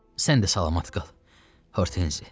Sən də salamat qal, Hortenzi.